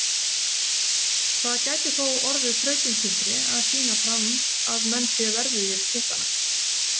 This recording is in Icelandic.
Það gæti þó orðið þrautin þyngri að sýna fram að menn séu verðugir titlanna.